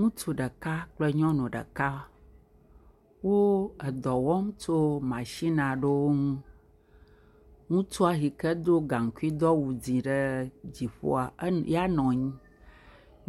Ŋutsu ɖeka kple nyɔnu ɖeka, wo dɔ wɔm tso matsin aɖewo ŋu, ŋutsua yike do gaŋkui, do aw de ɖe dziƒoa ya nɔ anyi,